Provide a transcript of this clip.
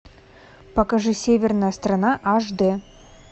покажи северная страна аш д